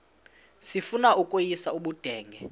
sifuna ukweyis ubudenge